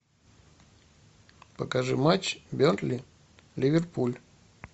покажи матч бернли ливерпуль